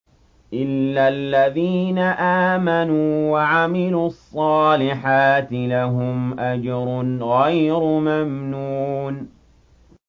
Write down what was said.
إِلَّا الَّذِينَ آمَنُوا وَعَمِلُوا الصَّالِحَاتِ لَهُمْ أَجْرٌ غَيْرُ مَمْنُونٍ